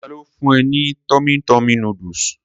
Tani ó fún e ní tummy tummy noodles?